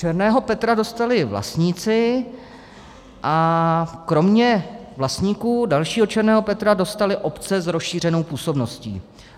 Černého Petra dostali vlastníci a kromě vlastníků dalšího černého Petra dostaly obce s rozšířenou působností.